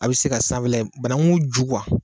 A bi se ka sanfɛla in bananku ju